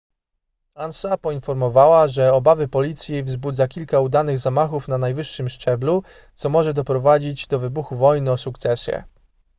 ansa poinformowała że obawy policji wzbudza kilka udanych zamachów na najwyższym szczeblu co może doprowadzić do wybuchu wojny o sukcesję